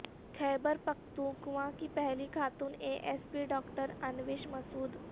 خیبر Pakhtunkhwa کی پہلی خاتون A S P doctor Anoosh Masood